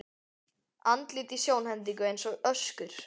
Andlit í sjónhendingu eins og öskur.